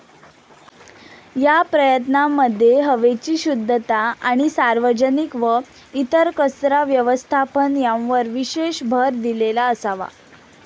या प्रयत्नांमध्ये हवेची शुध्दता, आणि सार्वजनिक व इतर कचरा व्यवस्थापन यांवर विशेष भर दिलेला असावा.